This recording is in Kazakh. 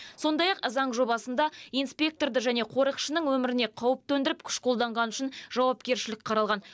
сондай ақ заң жобасында инспекторды және қорықшының өміріне қауіп төндіріп күш қолданғаны үшін жауапкершілік қаралған